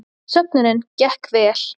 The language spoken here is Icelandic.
Söfnunin gekk vel